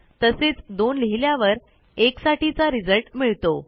तसेच 2लिहिल्यावर 1साठीचा रिझल्ट मिळतो